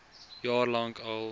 jaar lank al